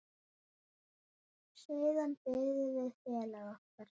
Siðan biðum við félaga okkar.